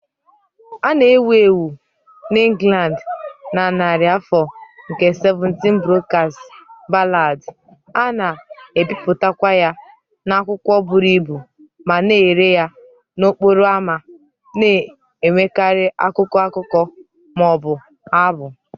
A na-ewu ewu n'Ingland na narị afọ nke 17 Broadside Ballad, a na-ebipụtakwa ya n'akwụkwọ buru ibu ma na-ere ya n'okporo ámá, na-enwekarị akụkọ, akụkọ, ma ọ bụ abụ.